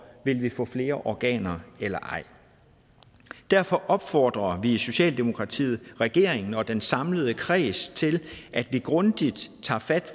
vil vi få flere organer eller ej derfor opfordrer vi i socialdemokratiet regeringen og den samlede kreds til at vi grundigt tager fat